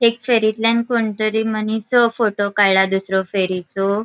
एक फेरीतल्यान कोण तरी मनिसो फोटो काडला दुसरो फेरीचो .